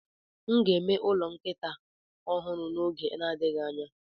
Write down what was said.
M ga-eme ụlọ nkịta ọhụrụ n'oge na-adịghị anya.